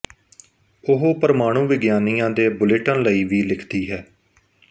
ਉਹ ਪ੍ਰਮਾਣੂ ਵਿਗਿਆਨੀਆਂ ਦੇ ਬੁਲੇਟਿਨ ਲਈ ਵੀ ਲਿਖਦੀ ਹੈ